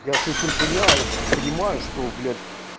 я совсем понимаю понимаю что блять